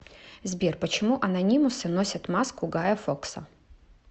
сбер почему анонимусы носят маску гая фокса